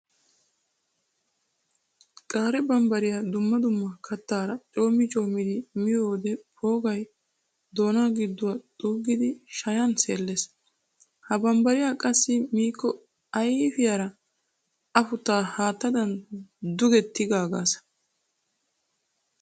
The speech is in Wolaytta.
Qaye bambbariya dumma dumma kattara coommi commiddi miyoode poogay doona giduwa xuugiddi shayan seeles. Ha bambbare qassi ayfiyan afutta haattadan tuge tiggagasa.